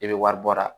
I bɛ wari bɔ a la